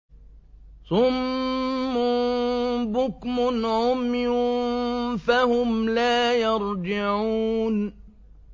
صُمٌّ بُكْمٌ عُمْيٌ فَهُمْ لَا يَرْجِعُونَ